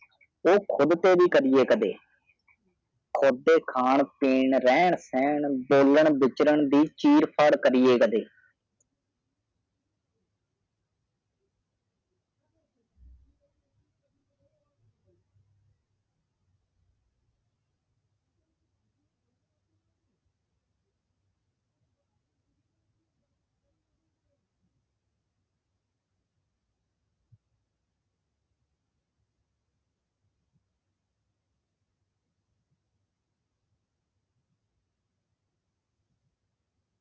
ਖੁਦ ਸੇ ਭੀ ਕਰਿਏ ਕਭੀ ਖੁਦ ਕਾ ਖਾਣਾ ਪੀਨਾ ਰਹਾਨ ਸਾਹਨ ਬੋਲਚਲ ਦੇ ਚਿਰ ਫੜ੍ਹ ਕਰਿਏ ਕਦੇ